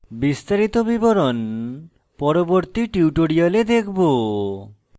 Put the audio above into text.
বিস্তারিত বিবরণ পরবর্তী tutorial দেখব